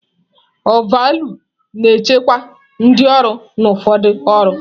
Ọvaọlụ na-echekwa ndị ọrụ na ụfọdụ ọrụ.